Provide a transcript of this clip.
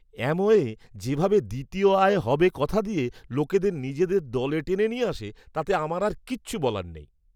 Amway যেভাবে দ্বিতীয় আয় হবে কথা দিয়ে লোকদের নিজদের দলে টেনে নিয়ে আসে তাতে আমার আর কিছু বলার নেই!